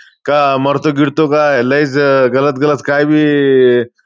काय मरतो गिरतो काय? लयच गलत गलत काय बी.